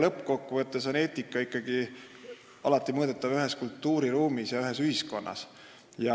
Lõppkokkuvõttes on eetika ikkagi alati mõõdetav ühes kultuuriruumis ja ühes ühiskonnas.